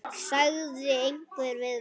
sagði einhver við mig.